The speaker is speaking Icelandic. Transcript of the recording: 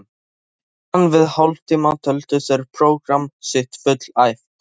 Á innan við hálftíma töldu þeir prógramm sitt fullæft.